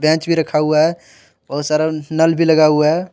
Bench भी रखा हुआ हैं बहुत सारा नल भी लगा हुआ हैं।